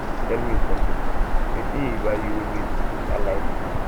tell me something wetin he buy you wey make you dey shine like dis